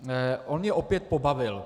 On mě opět pobavil.